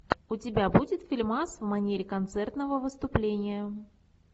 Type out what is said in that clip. у тебя будет фильмас в манере концертного выступления